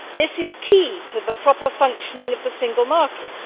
This is key to the proper functioning of the single market.